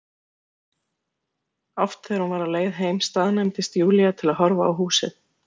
Oft þegar hún var á leið heim staðnæmdist Júlía til að horfa á húsið.